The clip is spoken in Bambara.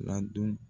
Ladon